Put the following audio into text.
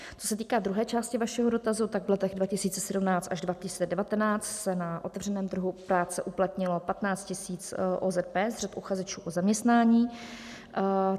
Co se týká druhé části vašeho dotazu, tak v letech 2017 až 2019 se na otevřeném trhu práce uplatnilo 15 000 OZP z řad uchazečů o zaměstnání.